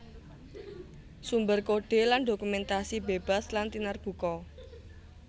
Sumber kodhe lan dokumentasi bebas lan tinarbuka